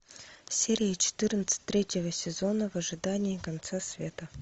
серия четырнадцать третьего сезона в ожидании конца света